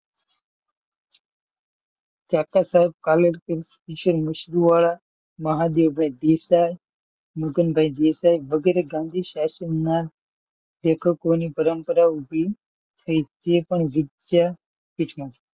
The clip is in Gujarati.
કાકા સાહેબ કાલેકર, ઇસંન મશહૂર વડા, મહાદેવ ભાઈ દેશાઈ અને મગન ભાઈ દેસાઇ વગેરે ગાંધી શાસન નાં લેખકોની પરંપરા ઊભી થઈ ઇ પણ પણ વિદ્યાપીઠમાં,